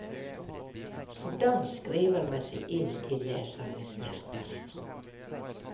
Hvordan skriver man seg inn i lesernes hjerter?